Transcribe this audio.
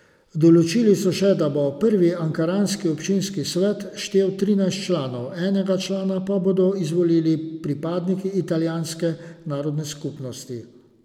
Določili so še, da bo prvi ankaranski občinski svet štel trinajst članov, enega člana pa bodo izvolili pripadniki italijanske narodne skupnosti.